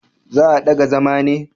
Za a daga zama ne?